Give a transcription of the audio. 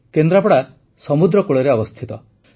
କେନ୍ଦ୍ରାପଡ଼ା ସମୁଦ୍ରକୂଳରେ ଅବସ୍ଥିତ